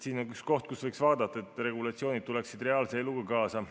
See on üks koht, kus võiks vaadata, et regulatsioonid tuleksid reaalse eluga kaasa.